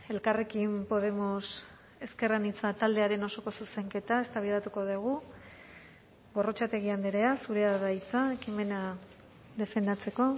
elkarrekin podemos ezker anitza taldearen osoko zuzenketa eztabaidatuko dugu gorrotxategi andrea zurea da hitza ekimena defendatzeko